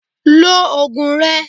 Lo oògùn rẹ!